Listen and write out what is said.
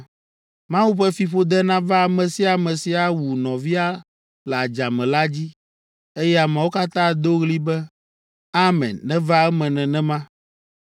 “Mawu ƒe fiƒode nava ame sia ame si awu nɔvia le adzame la dzi.” Eye ameawo katã ado ɣli be, “Amen: neva eme nenema!”